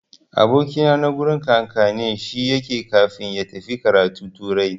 Aboki na a gurin kakannin shi yake kafin ya tafi karatu turai.